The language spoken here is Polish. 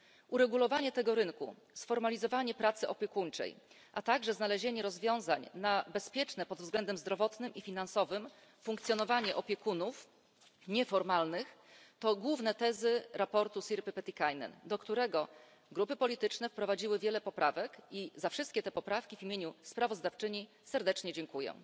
Uregulowanie tego rynku, sformalizowanie pracy opiekuńczej, a także znalezienie rozwiązań na bezpieczne pod względem zdrowotnym i finansowym funkcjonowanie opiekunów nieformalnych to główne tezy sprawozdania Sirpy Petikainen, do którego grupy polityczne wprowadziły wiele poprawek i za wszystkie te poprawki w imieniu sprawozdawczyni serdecznie dziękuję.